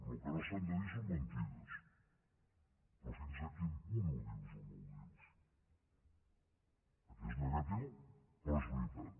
el que no s’han de dir són mentides però fins a quin punt ho dius o no ho dius perquè és negatiu però és veritat